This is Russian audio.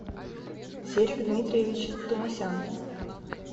серик дмитриевич тумасян